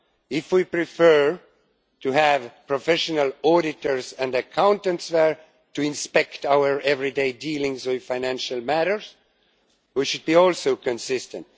If we prefer to have professional auditors and accountants there to inspect our everyday dealings with financial matters, we should be also consistent.